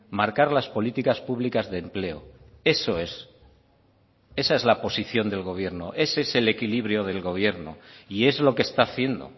marcar las políticas públicas de empleo eso es esa es la posición del gobierno ese es el equilibrio del gobierno y es lo que está haciendo